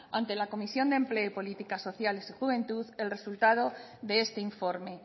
ante la comisión de empleo y políticas sociales y juventud el resultado de este informe